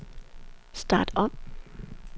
start om